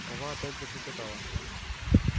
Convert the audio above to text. сова опять заклекотала